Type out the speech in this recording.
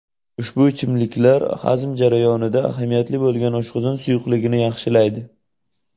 Ushbu ichimliklar hazm jarayonida ahamiyatli bo‘lgan oshqozon suyuqligini yaxshilaydi.